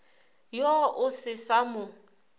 yo o se sa mo